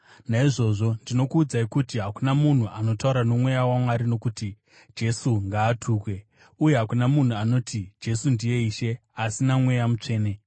Naizvozvo ndinokuudzai kuti hakuna munhu anotaura noMweya waMwari anoti, “Jesu ngaatukwe.” Uye hakuna munhu anoti, “Jesu ndiye Ishe,” asi naMweya Mutsvene.